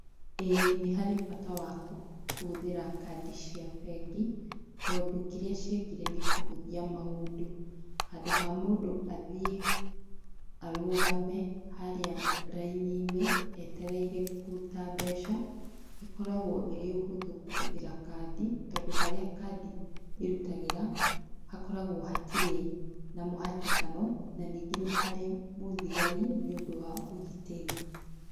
Ĩĩ nĩ harĩ bata wa kũhũthĩra kandi cia bengi tondũ kĩrĩa ciekire nĩ kũhũthia maũndũ handũ ha mũndũ athie arũgame haria raini-inĩ eterereire kũruta mbeca ĩkoragwo ĩrĩ ũhũthũ kũhũthĩra kandi tondũ harĩa kandi ĩrutagĩra hakoragwo hatirĩ na mũhatĩano na ningĩ nĩ harĩ na mũthigari nĩũndũ wa ũgitĩri.